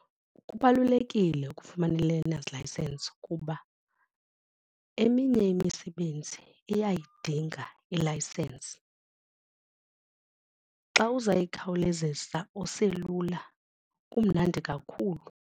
Kubalulekile ukufumana i-learners license kuba eminye imisebenzi uyayidinga ilayisensi. Xa uzayikhawulezisa oselula kumnandi kakhulu.